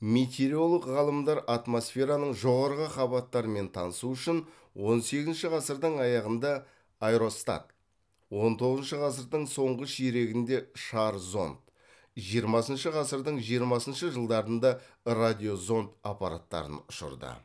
метеоролог ғалымдар атмосфераның жоғарғы қабаттарымен танысу үшін он сегізінші ғасырдың аяғында аэростат он тоңызыншы ғасырдың соңғы ширегінде шар зонд жиырмасыншы ғасырдың жиырмасыншы жылдарында радиозонд аппараттарын ұшырды